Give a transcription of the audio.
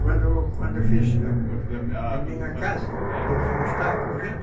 Quando quando eu fiz a minha casa?